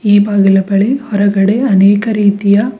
ಈ ಬಾಗಿಲ ಬಳಿ ಹೊರಗಡೆ ಅನೇಕ ರೀತಿಯ--